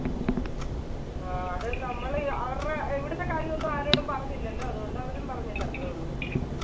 ആ അത് നമ്മള് അഹ് അവരുടെ ഇവിടുത്തെ കാര്യം ഒന്നും ആരോടും പറഞ്ഞില്ലാലോ അതുകൊണ്ട് അവരും പറഞ്ഞില്ല അത്രേയുള്ളു.